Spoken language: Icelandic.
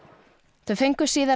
þau fengu síðar